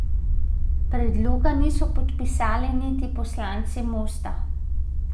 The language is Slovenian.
Predloga niso podpisali niti poslanci Mosta.